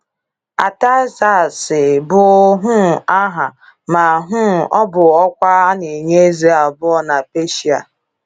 Artaxerxes bụ um aha ma um ọ bụ ọkwa a n'enye eze abụọ na Peshia.